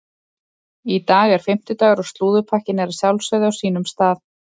Í dag er fimmtudagur og slúðurpakkinn er að sjálfsögðu á sínum stað.